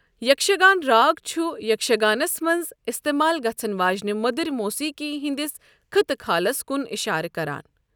یكھشگان راگ چُھ یَکشگَانس منٛز اِستعمال گَژھن وٲجِنہِ مودٕرِ موسیٖقی ہندِس خطہٕ كھالس کُن اِشارٕ کَران۔